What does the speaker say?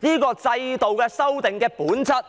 這個制度的修訂的本質，